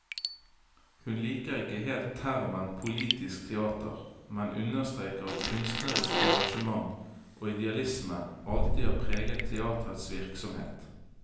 Hun liker ikke helt termen politisk teater, men understreker at kunstnerisk engasjement og idealisme alltid har preget teaterets virksomhet.